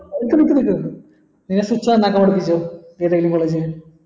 നിക്ക് നിക്ക് ഇണ്ടാക്കാൻ പഠിപ്പിചെ ഏതെങ്കില് college ൽ